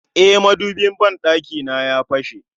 E, madubin ban ɗakina ya fashe